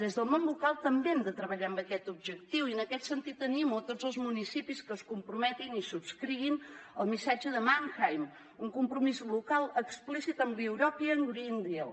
des del món local també hem de treballar amb aquest objectiu i en aquest sentit animo tots els municipis que es comprometin i subscriguin el missatge de mannheim un compromís local explícit amb l’european green deal